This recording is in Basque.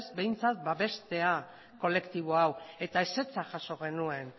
behintzat babestea kolektibo hau eta ezetza jaso genuen